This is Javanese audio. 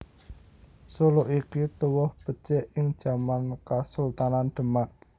Suluk iki tuwuh becik ing jaman Kasultanan Demak